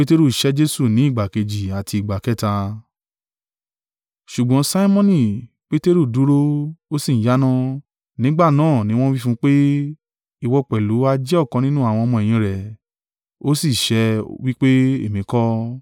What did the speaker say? Ṣùgbọ́n Simoni Peteru dúró, ó sì ń yáná. Nígbà náà ni wọ́n wí fún un pé, “Ìwọ pẹ̀lú ha jẹ́ ọ̀kan nínú àwọn ọmọ-ẹ̀yìn rẹ̀?” Ó sì sẹ́, wí pé, “Èmi kọ́.”